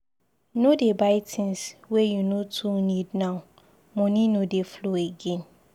No dey buy tins wey you no too need now, moni no dey flow again.